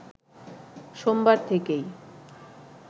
সোমবার থেকেই